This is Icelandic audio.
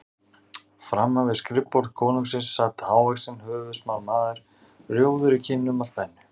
Framan við skrifborð konungsins sat hávaxinn höfuðsmár maður, rjóður í kinnum af spennu.